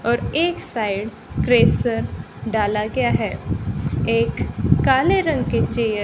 और एक side crusher डाला गया है एक काले रंग के चेयर --